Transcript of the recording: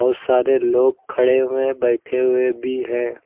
बहुत सारे लोग खड़े हुए हैं बैठे हुए भी हैं।